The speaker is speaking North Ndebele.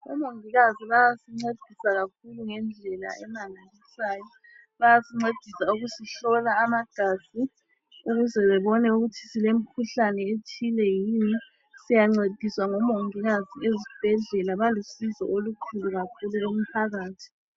Omongikazi bayasincedisa kakhulu ngendlela emangalisayo. Bayasincedisa ukusihlola amagazi ukuze bebone ukuthi silemikhuhlane ethile yini. Siyancediswa ngomongikazi ezibhedlela, balusizo olukhulu kakhulu kumphakathi.